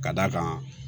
Ka d'a kan